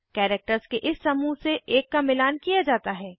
characters के इस समूह से एक का मिलान किया जाता है